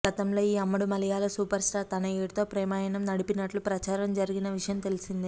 గతంలో ఈ అమ్మడు మలయాళ సూపర్ స్టార్ తనయుడితో ప్రేమాయణం నడిపినట్లు ప్రచారం జరిగిన విషయం తెలిసిందే